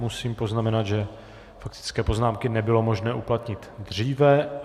Musím poznamenat, že faktické poznámky nebylo možné uplatnit dříve.